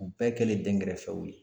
U bɛɛ kɛlen dɛnkɛrɛfɛw ye.